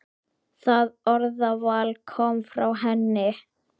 Það orðaval kom frá henni.